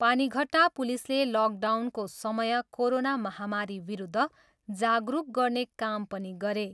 पानीघट्टा पुलिसले लकडाउनको समय कोरोना महामारीविरुद्ध जागरुक गर्ने काम पनि गरे।